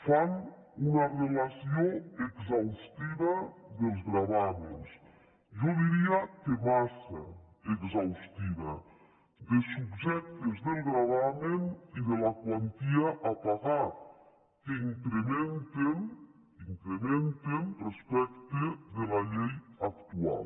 fan una relació exhaustiva dels gravàmens jo diria que massa exhaustiva dels subjectes del gravamen i de la quantia a pagar que incrementen incrementen respecte de la llei actual